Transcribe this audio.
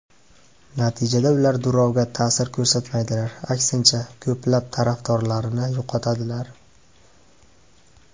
Natijada ular Durovga ta’sir ko‘rsatmaydilar, aksincha, ko‘plab tarafdorlarini yo‘qotadilar.